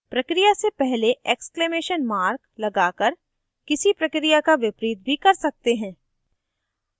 प्रक्रिया से पहले exclamation mark लगाकर किसी प्रक्रिया का विपरीत भी कर सकते हैं